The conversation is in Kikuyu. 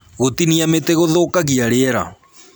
Gũtinia mĩtĩ gũthũkagia rĩera